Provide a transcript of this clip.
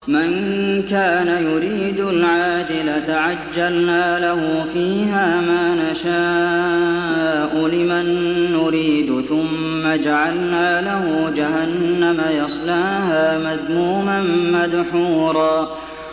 مَّن كَانَ يُرِيدُ الْعَاجِلَةَ عَجَّلْنَا لَهُ فِيهَا مَا نَشَاءُ لِمَن نُّرِيدُ ثُمَّ جَعَلْنَا لَهُ جَهَنَّمَ يَصْلَاهَا مَذْمُومًا مَّدْحُورًا